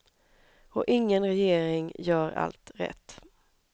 Och ingen regering gör allt rätt.